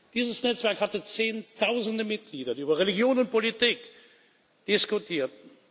Dieses Netzwerk hatte Zehntausende Mitglieder, die über Religion und Politik diskutierten.